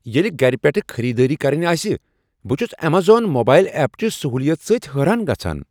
ییٚلہ گھرِ پیٹھٕہ خریدٲری کرٕنۍ آسہِ ، بہٕ چھٗس ایمیزون موبائل ایپ چہ سہولیت سۭتۍ حیران گژھان۔